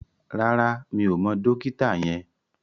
Rárá, mi ò mọ dókítà yẹn